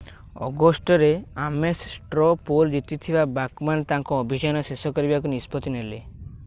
ଅଗଷ୍ଟରେ Ames straw poll ଜିତିଥିବା Bachmann ତାଙ୍କ ଅଭିଯାନ ଶେଷ କରିବାକୁ ନିଷ୍ପତ୍ତି ନେଲେ